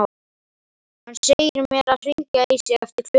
Hann segir mér að hringja í sig eftir klukkutíma.